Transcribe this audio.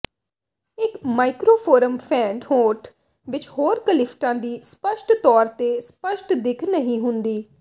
ਇੱਕ ਮਾਈਕ੍ਰੋਫੋਰਮ ਫੈਂਟ ਹੋਠ ਵਿੱਚ ਹੋਰ ਕਲੀਫਟਾਂ ਦੀ ਸਪੱਸ਼ਟ ਤੌਰ ਤੇ ਸਪਸ਼ਟ ਦਿੱਖ ਨਹੀਂ ਹੁੰਦੀ